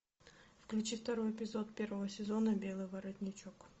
включи второй эпизод первого сезона белый воротничок